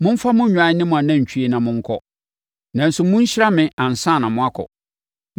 Momfa mo nnwan ne mo anantwie na monkɔ. Nanso monhyira me ansa na moakɔ.”